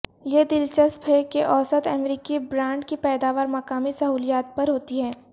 یہ دلچسپ ہے کہ اوسط امریکی برانڈ کی پیداوار مقامی سہولیات پر ہوتی ہے